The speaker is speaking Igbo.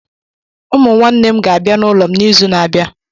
Ụmụ nwanne m ga-abịa n'ụlọ m n'izu na-abịa.